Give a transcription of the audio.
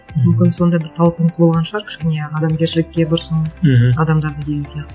мүмкін сонда бір талпыныс болған шығар кішкене адамгершілікке бұрсын мхм адамдарды деген сияқты